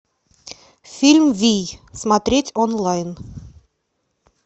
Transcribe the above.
фильм вий смотреть онлайн